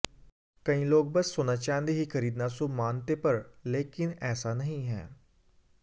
कई लोग बस सोना चांदी ही खरीदना शुभ मानते पर लेकिन ऐसा नहीं है